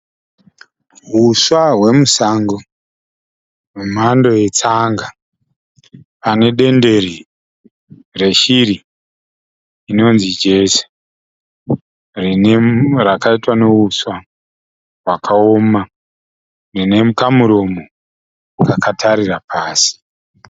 Huswa hwemusango, hwemhando yetsanga. Pane dendere reshiri inonzi jezi. Rakaitwa neuswa hwakaoma. Rine kamuromo kakatarira pasi.